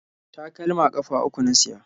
Takalma ƙafa uku na siya.